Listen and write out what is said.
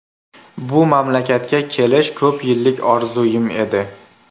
Bu mamlakatga kelish ko‘p yillik orzuyim edi.